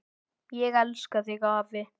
Ég elska þig, afi.